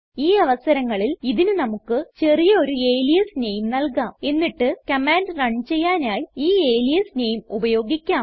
ഈ അവസരങ്ങളിൽ ഇതിന് നമുക്ക് ചെറിയ ഒരു അലിയാസ് നെയിം നൽകാം എന്നിട്ട് കമാൻഡ് റൺ ചെയ്യാനായി ഈ അലിയാസ് നെയിം ഉപയോഗിക്കാം